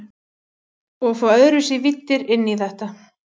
Og fá öðruvísi víddir inn í þetta.